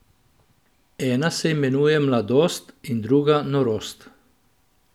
Ena se imenuje Mladost in druga Norost.